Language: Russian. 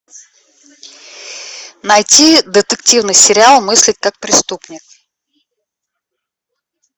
найти детективный сериал мыслить как преступник